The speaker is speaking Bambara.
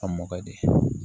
A mɔdi de